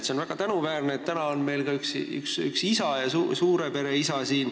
See on väga tänuväärne, et täna on meil siin ka üks isa, ühe suure pere isa.